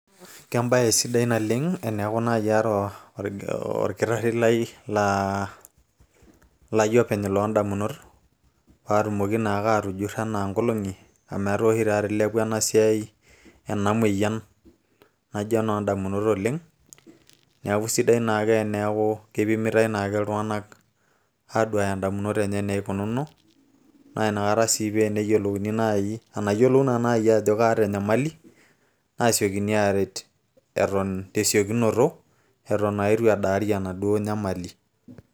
kebae sidai oleng' teneeku naaji kaata orkitari lai openy loo damunot, paa tumoki naa atujuro anaa ng'ologi amu etaa oshitata ilepua ena moyian oleng' ,neeku kisidai naake teneeku kipimita i naake ake iltung'anak aaduaya idamunot enye naikunono, naa inakata sii pee eneyiolouni naaji iltung'anak ajo keeta enyamali nesiokini aret eton etu edaari naa enamoyian.